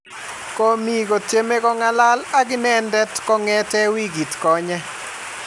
komie kotieme ko ng'alal ak inet kongete wikit konye